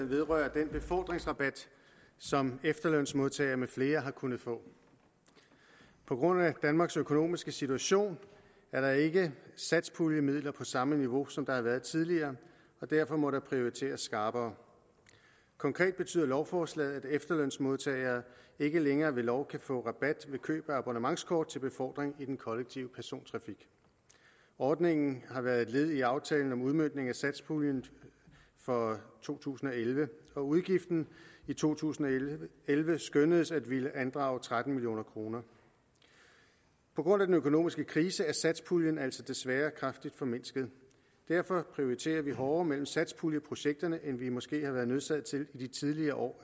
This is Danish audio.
vedrører den befordringsrabat som efterlønsmodtagere med flere har kunnet få på grund af danmarks økonomiske situation er der ikke satspuljemidler på samme niveau som der har været tidligere og derfor må der prioriteres skarpere konkret betyder lovforslaget at efterlønsmodtagere ikke længere ved lov kan få rabat ved køb af abonnementskort til befordring i den kollektive persontrafik ordningen har været et led i aftalen om udmøntning af satspuljen for to tusind og elleve og udgiften i to tusind og elleve skønnedes at ville andrage tretten million kroner på grund af den økonomiske krise er satspuljen altså desværre kraftigt formindsket og derfor prioriterer vi hårdere mellem satspuljeprojekterne end vi måske har været nødsaget til i de tidligere år